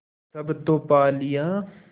सब तो पा लिया